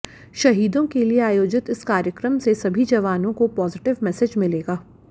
शहीदों के लिए आयोजित इस कार्यक्रम से सभी जवानों को पोजिटिव मेसेज मिलेगा